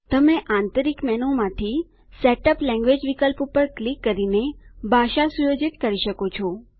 તમે આંતરિક મેનુમાંથીSetup લેન્ગ્વેજ વિકલ્પ પર ક્લિક કરીને ભાષા સુયોજિત કરી શકો છો